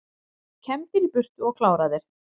Kembdir í burtu og kláraðir